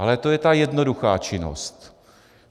Ale to je ta jednoduchá činnost.